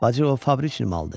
Bacı o fabrik malıdır.